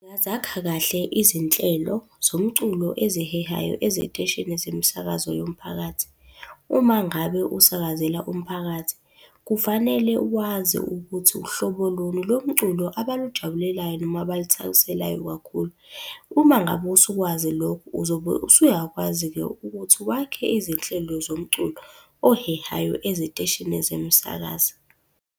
Ngingazakha kahle izinhlelo zomculo ezihehayo eziteshini zemisakazo yomphakathi. Uma ngabe usakazela umphakathi, kufanele wazi ukuthi uhlobo luni lo mculo abalujabulelayo noma abaluthakaselayo kakhulu. Uma ngabe usukwazi lokho uzobe usuyakwazi-ke ukuthi wakhe izinhlelo zomculo ohehayo eziteshini zomsakazo.